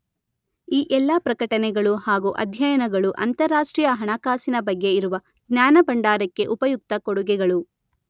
ಈ ಎಲ್ಲಾ ಪ್ರಕಟಣೆಗಳು ಹಾಗೂ ಅಧ್ಯಯನಗಳು ಅಂತಾರಾಷ್ಟ್ರೀಯ ಹಣಕಾಸಿನ ಬಗ್ಗೆ ಇರುವ ಜ್ಞಾನಭಂಡಾರಕ್ಕೆ ಉಪಯುಕ್ತ ಕೊಡುಗೆಗಳು.